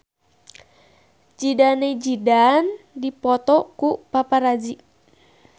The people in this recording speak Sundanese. Zidane Zidane dipoto ku paparazi